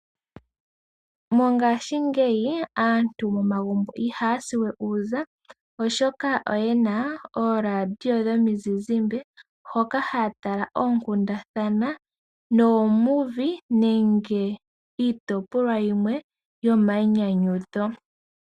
Mongaashingeyi aantu momagumbo ihaya siwe uuza oshoka oyena ooradio dhomi zizimbe hoka haya tala oonkundana, iinyandwa osho wo iitopolwa yimwe yomainyanyudho.